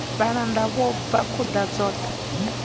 vhalanda vho bva khuḓa dzoṱhe